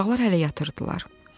Uşaqlar hələ yatırdılar.